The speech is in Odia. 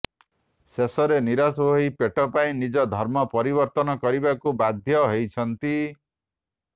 ଶେଷରେ ନିରାଶ ହୋଇ ପେଟ ପାଇଁ ନିଜ ଧର୍ମ ପରିବର୍ତନ କରିବାକୁ ବାଧୢ ହୋଇଛନ୍ତି